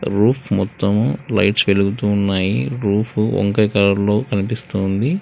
roof మొత్తం lights వెలుగుతూ ఉన్నాయి రూఫు వంకయ్ కలర్ కనిపిస్తు ఉంది